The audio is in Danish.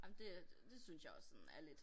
Ej men det øh det synes jeg også sådan er lidt